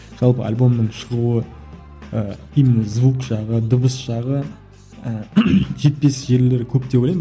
жалпы альбомның шығуы ы именно звук жағы дыбыс жағы ы жетпес жерлері көп деп ойлаймын